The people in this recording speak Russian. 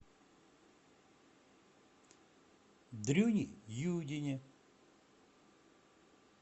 дрюне юдине